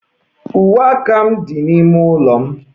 Uwe m dị n'ime ụlọ m.